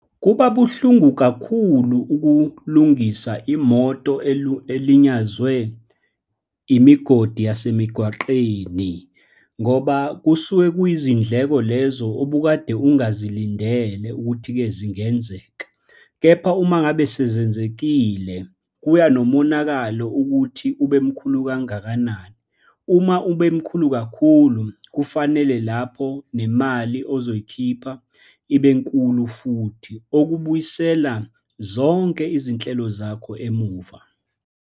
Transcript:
Kuba buhlungu kakhulu ukulungisa imoto elinyazwe imigodi yasemigwaqeni ngoba kusuke kuyizindleko lezo obukade ongazilindele ukuthi-ke zingenzeka. Kepha uma ngabe sezenzekile, kuya nomonakalo ukuthi ube mkhulu kangakanani. Uma ube mkhulu kakhulu, kufanele lapho nemali ozoyikhipha ibe nkulu futhi, okubuyisela zonke izinhlelo zakho emuva.